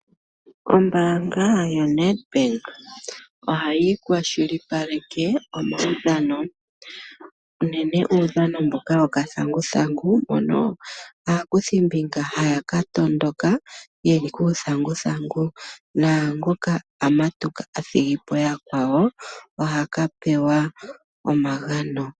Ombaanga yoNEDBANK ohayi kwashilipaleke omaudhano. Unene tuu uudhano mboka wuuthanguthangu, mono aakuthimbinga haya tondoka, yeli kuuthanguthangu. Naangoka athigipo yakwawo, oha kapewa omagano.